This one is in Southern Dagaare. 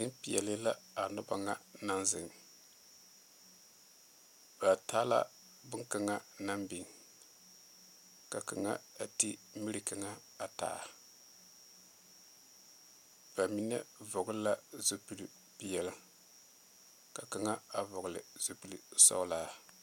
Bondirii maaloo zie la ba marɛɛ vūū ba dogle la a daransaŋ a vūū zu ba are kɔge la a tabol pɔge deɛ la wagyɛ o de la nu a kori o zu a bie are la o su la kparedoɔre o seɛ la monkuri a naŋ leni doɔre ane peɛle.